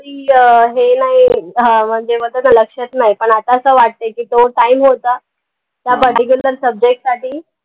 प्रिय हे नाई अह म्हणजे मग आता ते लक्षात नाई पन आता असं वाटते की तो time होता particular subject साठी